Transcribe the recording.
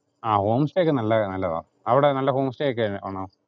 ആ home stay ഒക്കെ നല്ലതാ, അവിടെ നല്ല home stay ഒക്കെ ആണോ?